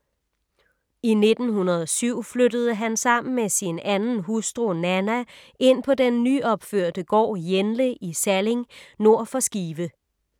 I 1907 flyttede han sammen med sin anden hustru, Nanna, ind på den nyopførte gård Jenle i Salling nord for Skive.